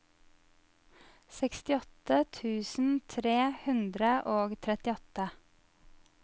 sekstiåtte tusen tre hundre og trettiåtte